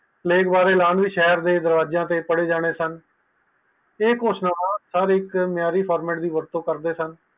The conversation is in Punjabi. ਲੈਣ ਵੀ ਸ਼ਹਿਰ ਦੇ ਦਰਵਾਜੇ ਪਰੇ ਜਾਣੇ ਸਨ ਇਕ ਘੋਸ਼ਣਾਵਾਂ ਹਰ ਇਕ ਹਰ ਇਕ ਨਯਾਰੀ ਪਰ ਕਰਦੇ ਸਨ